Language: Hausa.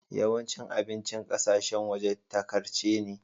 Yawancin abincin ƙasashen waje takarce ne.